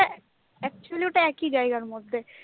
actually ওটা একই জায়গার মধ্যে,